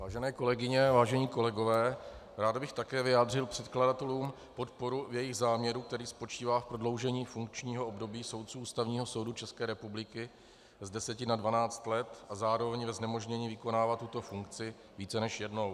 Vážené kolegyně, vážení kolegové, rád bych také vyjádřil předkladatelům podporu v jejich záměru, který spočívá v prodloužení funkčního období soudců Ústavního soudu České republiky z deseti na dvanáct let a zároveň ve znemožnění vykonávat tuto funkci více než jednou.